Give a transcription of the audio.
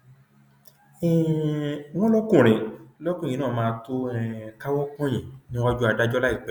um wọn lọkùnrin lọkùnrin náà máa tóó um káwọ pọnyìn níwájú adájọ láìpẹ